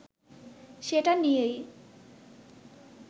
সেটা নিয়েই